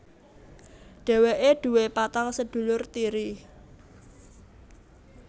Dheweke duwé patang sedulur tiri